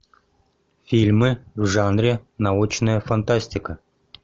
фильмы в жанре научная фантастика